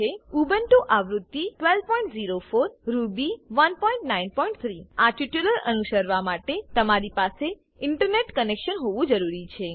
Ubuntu આવૃત્તિ 1204 Ruby 193 આ tutorial અનુસરવા માટે તમારી પાસે ઇન્ટરનેટ કનેક્શન હોવું જરૂરી છે